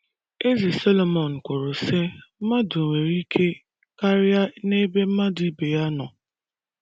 Eze Solomọn kwuru, sị: “ Mmadụ nwere ike karịa n'ebe mmadụ ibe ya nọ. ”